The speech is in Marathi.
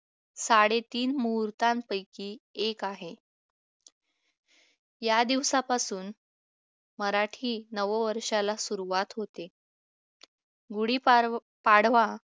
साडेतीन मुहूर्तांपैकी एक आहे या दिवसापासून मराठी नववर्षाला सुरुवात होते गुढीपाडवा